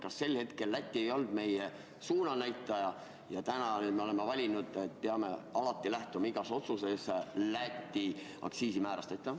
Kas sel hetkel Läti ei olnud meie suunanäitaja, aga täna oleme valinud, et peame alati lähtuma igas otsuses Läti aktsiisimäärast?